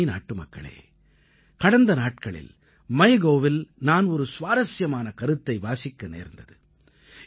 எனதருமை நாட்டுமக்களே கடந்த நாட்களில் MyGovஇல் நான் ஒரு சுவாரசியமான கருத்தை வாசிக்க நேர்ந்தது